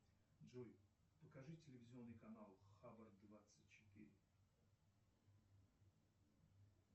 джой покажи телевизионный канал хабар двадцать четыре